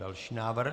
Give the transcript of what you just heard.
Další návrh.